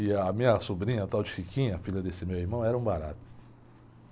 E a minha sobrinha, a tal de, filha desse meu irmão, era um barato.